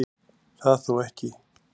Það þó ekki